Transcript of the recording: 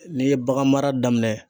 N'i ye bagan mara daminɛ